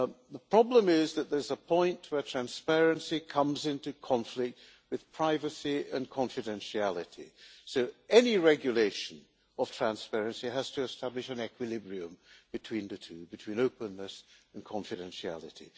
The problem is that there is a point where transparency comes into conflict with privacy and confidentiality, so any regulation of transparency has to establish an equilibrium between the two between openness and confidentiality.